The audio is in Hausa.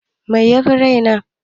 Mai yafi rai na?